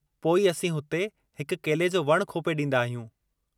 पोइ, असीं हुते हिकु केले जो वणु खोपे ॾींदा आहियूं।